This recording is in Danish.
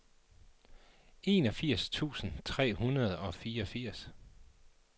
enogfirs tusind tre hundrede og fireogfirs